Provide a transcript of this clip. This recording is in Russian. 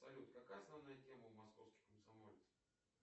салют какая основная тема у московских комсомольцев